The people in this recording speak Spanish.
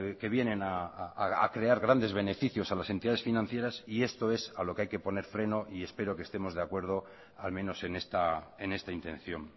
que vienen a crear grandes beneficios a las entidades financieras y esto es a lo que hay que poner freno y espero que estemos de acuerdo al menos en esta intención